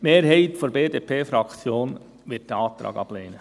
Die Mehrheit der BDP-Fraktion wird den Antrag ablehnen.